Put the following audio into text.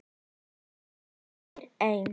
Hann vildi eiga þær einn.